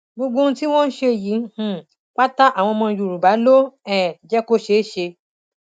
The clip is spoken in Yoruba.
gbọgbọb ohun tí wọn ṣe yìí um pátá àwọn ọmọ yorùbá ló um jẹ kó ṣeé ṣe